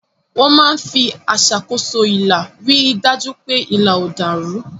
Wọ́n máa ń fi aṣàkóso ilà rí i dájú pé ilà ò dàrú.